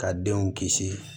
Ka denw kisi